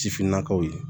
Sifinnakaw ye